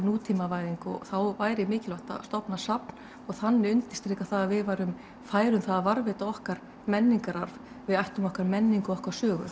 nútímavæðing og þá væri mikilvægt að stofna safn og þannig undirstrika að við værum fær um það að varðveita okkar menningararf við ættum okkar menningu og okkar sögu